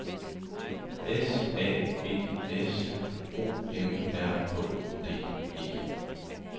S A G S O M R Å D E